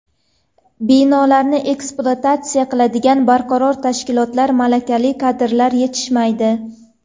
Binolarni ekspluatatsiya qiladigan barqaror tashkilotlar, malakali kadrlar yetishmaydi.